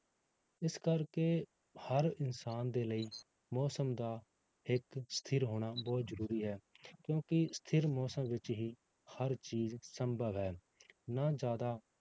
ਇਸ ਕਰਕੇ ਹਰ ਇਨਸਾਨ ਦੇ ਲਈ ਮੌਸਮ ਦਾ ਇੱਕ ਸਥਿਰ ਹੋਣਾ ਬਹੁਤ ਜ਼ਰੂਰੀ ਹੈ, ਕਿਉਂਕਿ ਸਥਿਰ ਮੌਸਮ ਵਿੱਚ ਹੀ ਹਰ ਚੀਜ਼ ਸੰਭਵ ਹੈ, ਨਾ ਜ਼ਿਆਦਾ